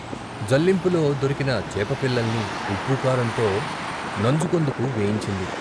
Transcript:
జల్లింపులో దొరికిన చేప పిల్లల్ని ఉప్పు కారంతో నంజుకొందుకు వేయించింది.